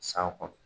San kɔnɔ